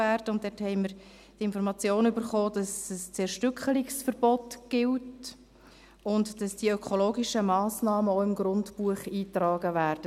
Diesbezüglich erhielten wir die Information, dass ein Zerstückelungsverbot gilt und dass die ökologischen Massnahmen auch im Grundbuch eingetragen werden.